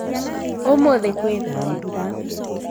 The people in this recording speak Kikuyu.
ũmũthĩ kwĩna mbura